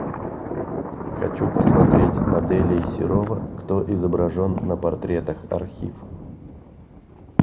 хочу посмотреть моделей серова кто изображен на портретах архив